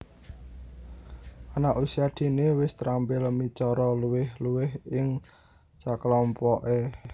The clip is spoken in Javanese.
Anak Usia Dini wis terampil micara luwih luwih ing sakelompoke